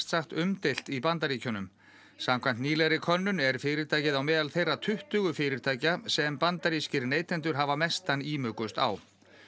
sagt umdeilt í Bandaríkjunum samkvæmt nýlegri könnun er fyrirtækið á meðal þeirra tuttugu fyrirtækja sem bandarískir neytendur hafa mestan ímugust á